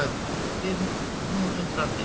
spyr hún undrandi.